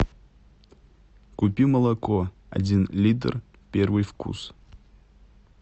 купи молоко один литр первый вкус